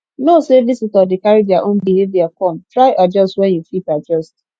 know say visitor de carry their own behavior come try adjust where you fit adjust